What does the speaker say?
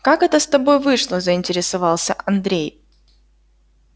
как это с тобой вышло заинтересовался андрей